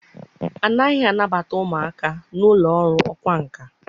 A naghị anabata ụmụaka na ụlọ ọrụ ọkwá nkà.